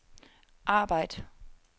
arbejd